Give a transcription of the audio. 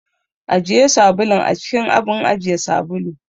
Ajiye sabulun a cikin abun ajiye sabulu.